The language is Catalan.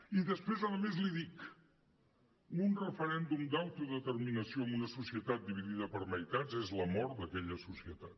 i després a més li dic un referèndum d’autodeterminació en una societat dividida per meitats és la mort d’aquella societat